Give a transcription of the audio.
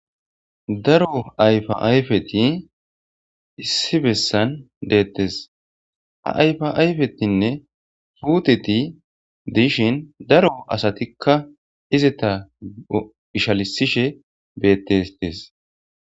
Daro ayfa ayfeti issi bessan deettes ha ayfa ayfetinne puteti dishin daro asatikka izita ishalisishe bettestes.